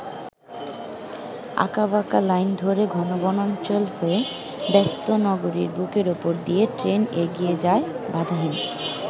আঁকাবাঁকা লাইন ধরে ঘন বনাঞ্চল হয়ে ব্যস্ত নগরীর বুকের উপর দিয়ে ট্রেন এগিয়ে যায় বাধাহীন।